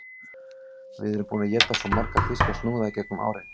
Við erum búin að éta svo marga þýska snúða í gegnum árin